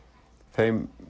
þeim